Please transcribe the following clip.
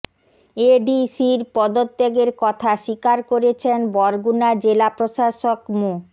এডিসির পদত্যাগের কথা স্বীকার করেছেন বরগুনা জেলা প্রশাসক মো